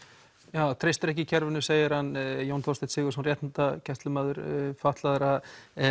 já treystir ekki kerfinu segir hann Jón Þorsteinn Sigurðsson réttindagæslumaður fatlaðra